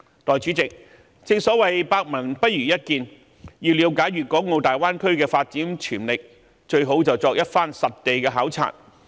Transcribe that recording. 代理主席，正所謂百聞不如一見，要了解粵港澳大灣區的發展潛力，最好便是作一番實地考察。